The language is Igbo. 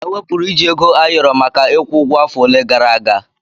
Ewepụrụ iji Ego ayoro maka ịkwụ ụgwọ afọ ole gara aga.